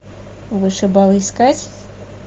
вышибалы искать